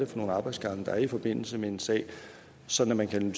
for nogle arbejdsgange der er i forbindelse med en sag så man kan